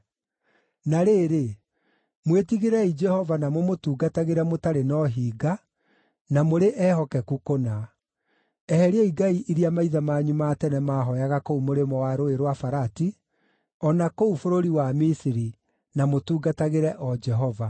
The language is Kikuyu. “Na rĩrĩ, mwĩtigĩrei Jehova na mũmũtungatagĩre mũtarĩ na ũhinga, na mũrĩ ehokeku kũna. Eheriai ngai iria maithe manyu ma tene maahooyaga kũu mũrĩmo wa Rũũĩ rwa Farati, o na kũu bũrũri wa Misiri, na mũtungatagĩre o Jehova.